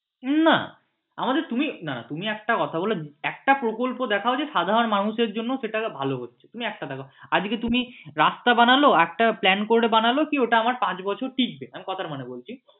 না আমাদের তুমি না না তুমি একটা কথা বল একটা প্রকল্প দেখাও যে সাধারণ মানুষের জন্য সেটা ভালো হচ্ছে তুমি একটা দেখাও আজক তুমি রাস্তা বানাল একটা plan code বানাল কি ওটা আমার পাঁচ বছর টিকবে আমি কথার মানে বলছি